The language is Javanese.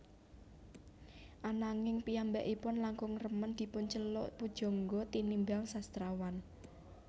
Ananging piyambakipun langkung remen dipunceluk pujangga tinimbang sastrawan